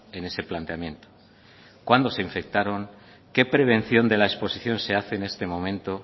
en ese planteamiento cuándo se infectaron qué prevención de la exposición se hace en este momento